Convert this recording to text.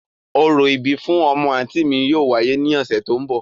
Orȯ ibi fun ọmọ anti mi yóò wáyè ni ọsẹ to n bọ.